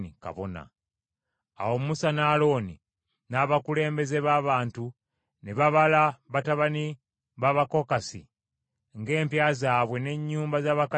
Awo Musa ne Alooni n’abakulembeze b’abantu ne babala batabani b’Abakokasi ng’empya zaabwe n’ennyumba z’abakadde baabwe bwe zaali.